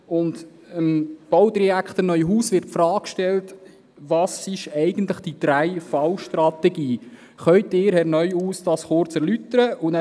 Dem Baudirektor Neuhaus wird die Frage gestellt, was eigentlich die 3VStrategie sei und ob er diese erläutern könne.